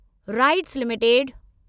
rights limited